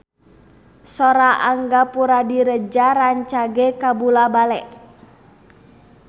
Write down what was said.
Sora Angga Puradiredja rancage kabula-bale